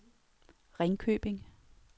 Ringkøbing